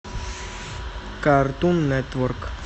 картун нетворк